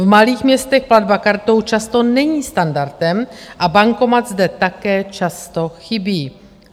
V malých městech platba kartou často není standardem a bankomat zde také často chybí.